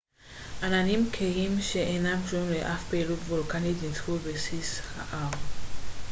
עננים כהים שאינם קשורים לאף פעילות וולקנית נצפו בבסיס ההר